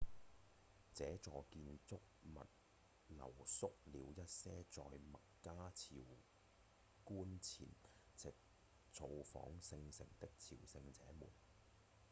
這座建築物留宿了一些在麥加朝覲前夕造訪聖城的朝聖者們